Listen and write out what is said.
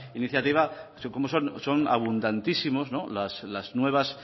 iniciativa cómo son abundantísimos las nuevas